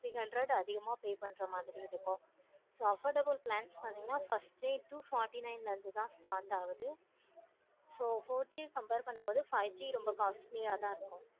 three hundred அதிகமா pay பண்ற மாதிரி இருக்கும். so affordable price பார்த்தீங்கன்னா two forty nine ல start ஆகும். ரொம்ப costly யா தான் இருக்கும்.